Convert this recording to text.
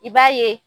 I b'a ye